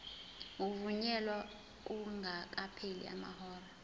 ukuvunyelwa kungakapheli amahora